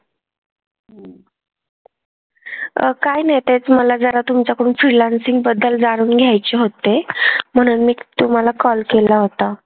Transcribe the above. अह काही नाही तेच मला जरा तुमच्याकडून freelancing बद्दल जाणून घ्यायचे होते, म्हणून मी तुम्हाला call केला होता.